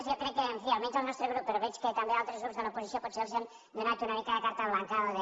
jo crec que en fi almenys el nostre grup però veig que també altres grups de l’oposició potser els hem donat una mica de carta blanca o de